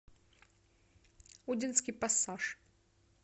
удинский пассаж